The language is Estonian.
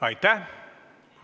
Aitäh!